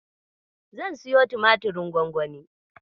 Zan siyo tumatirin gwangwani.